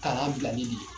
Kalan bilali de ye